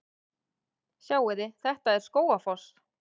Sjáiði! Þetta er Skógafoss.